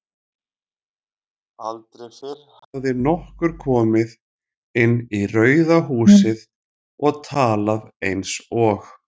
Aldrei fyrr hafði nokkur komið inn í Rauða húsið og talað einsog